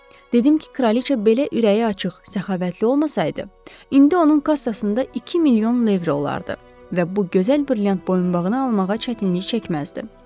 Dedim ki, kraliçə belə ürəyi açıq, səxavətli olmasaydı, indi onun kassasında iki milyon levrə olardı və bu gözəl brilyant boyunbağını almağa çətinlik çəkməzdi.